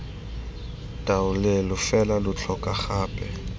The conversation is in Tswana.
taolelo fela lo tlhoka gape